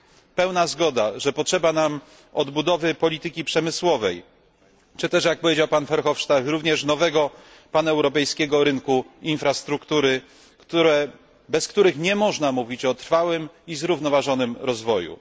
Istnieje pełna zgoda, że potrzeba nam odbudowy polityki przemysłowej, czy też, jak powiedział pan Verhofstadt, również nowego paneuropejskiego rynku infrastruktury, bez których nie można mówić o trwałym i zrównoważonym rozwoju.